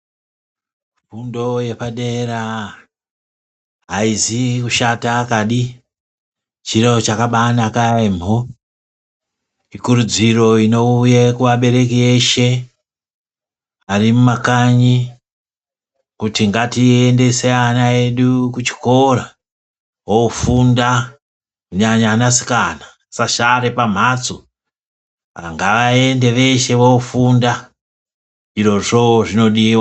Fundo yepadera aizi kushata kadi chiro chakabanaka yambo, ikurudziro inouya kuabereki eshe arimumakanyi kuti ngatiendese vana vedu kuchikora ofunda kunyanya anasikana asasare pamhatso ngavaende veshe vofunda izvozvo zvinodiwa.